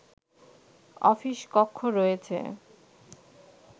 office কক্ষ রয়েছে